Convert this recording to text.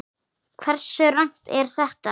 Hversu rangt er þetta?